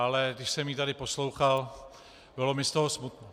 Ale když jsem ji tady poslouchal, bylo mi z toho smutno.